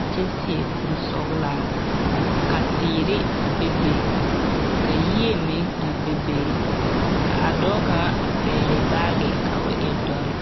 a kyԑ seԑ kuri sͻgelaa. Ka teere a bebe, ka yie meŋ a bebe ka a dͻͻ kaŋa a pԑgele baage ka o e dͻre.